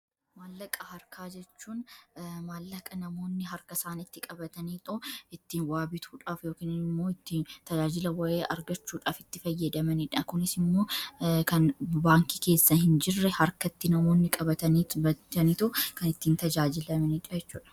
Maallaqa harkaa jechuun maallaqa namoonni harka isaanitti qabatanii yoo ittiin waabituudhaaf yookn immoo ittiin tajaajila wa'ee argachuudhaaf itti fayyadamaniidha. Kunis immoo kan baankii keessa hin jirre harkatti namoonni qabatanii ittiin bitanii too kan ittiin tajaajilamani jechuudha.